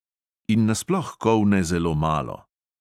In nasploh kolne zelo malo.